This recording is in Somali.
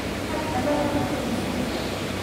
Tag dhalada ku tuur musqusha.